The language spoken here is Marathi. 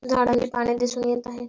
झाडांची पाने दिसून येत आहे.